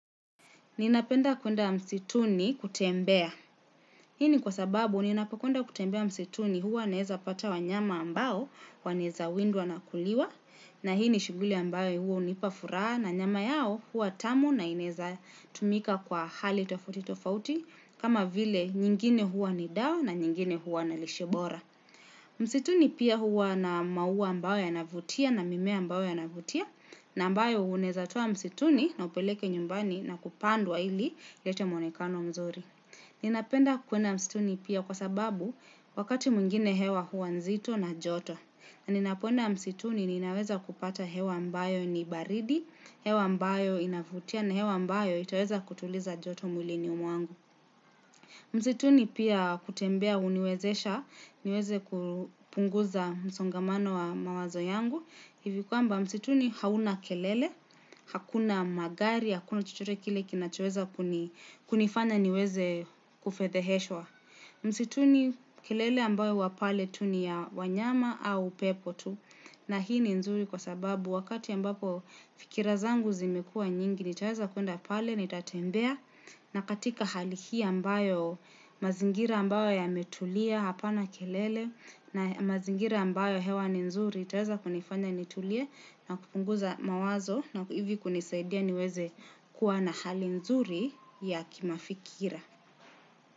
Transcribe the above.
Ninapenda kwenda msituni kutembea. Hini kwa sababu ninapokwenda kutembea msituni huwa naweza pata wanyama ambao, wanaweza windwa na kuliwa, na hii ni shughuli ambayo huwa unipa furaha, na nyama yao huwa tamu na ineza tumika kwa hali tofauti tofauti, kama vile nyingine huwa ni dawa na nyingine huwa na lishe bora. Msituni pia huwa na maua ambayo yanavutia na mimea ambayo ya navutia, na ambayo unaweza toa msituni na upeleke nyumbani na kupandwa ili, ilete mwonekano mzuri. Ninapenda kwenda msituni pia kwa sababu wakati mwingine hewa hua nzito na joto. Na ninapoenda msituni ninaweza kupata hewa mbayo ni baridi, hewa mbayo inavutia na hewa ambayo itaweza kutuliza joto mwilini mwangu. Msituni pia kutembea huniwezesha, niweze kupunguza msongamano wa mawazo yangu. Hivi kwamba msituni hauna kelele, hakuna magari, hakuna chochote kile kinachoweza kunifanya niweze kufedheheshwa. Msituni kelele ambayo wa pale tu ni ya wanyama au pepo tu na hii ni nzuri kwa sababu wakati ambapo fikira zangu zimekua nyingi nitaweza kuenda pale, nitatembea na katika hali hii ambayo mazingira ambayo yametulia hapa na kelele na mazingira ambayo hewa ni nzuri. Itaweza kunifanya nitulie na kupunguza mawazo na hivi kunisaidia niweze kuwa na hali nzuri ya kimafikira.